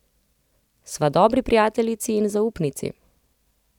Sva dobri prijateljici in zaupnici.